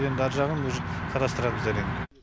енді ар жағын уже қарастырамыз әрине